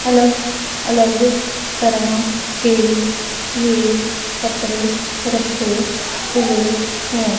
अलग अलग तरह के ये कपड़े रखे हुए हैं।